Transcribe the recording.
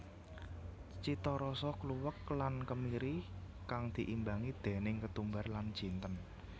Citarasa kluwek lan kemiri kang diimbangi déning ketumbar lan jinten